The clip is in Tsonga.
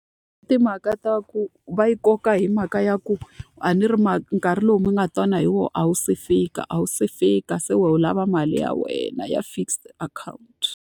Timhaka ta ku va yi koka hi mhaka ya ku, a ni ri nkarhi lowu mi nga twana hi wona a wu se fika a wu se fika, se wu lava mali ya wena ya fixed account.